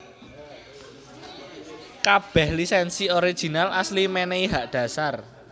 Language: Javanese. Kabèh lisènsi original asli mènèhi hak dhasar